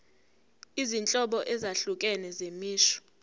izinhlobo ezahlukene zemisho